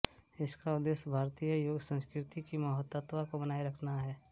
इसका उद्देश्य भारतीय योग संस्कृति की महत्वता को बनाए रखना है